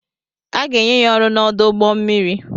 A ga-enye ya ọrụ n'ọdụ ụgbọ mmiri.